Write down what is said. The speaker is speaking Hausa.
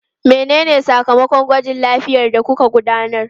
Menene sakamakon gwajin lafiyar da kuka gudanar?